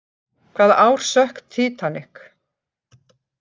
Hvaða ár sökk Titanic?